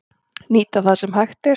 Nýta það sem hægt er